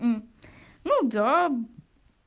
мм ну да